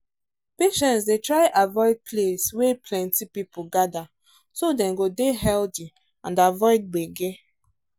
patients dey try avoid place wey plenty people gather so dem go dey healthy and avoid gbege